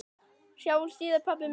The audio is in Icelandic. Sjáumst síðar, pabbi minn.